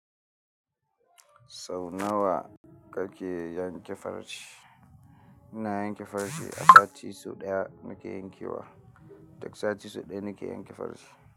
Sau nawa kake yanke farce ina yan ke farce a sati sau ɗaya nake yanke wa. Duk sati so ɗaya n ke yanke farce.